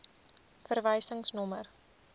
verwysingsnommer